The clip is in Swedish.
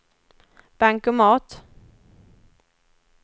bankomat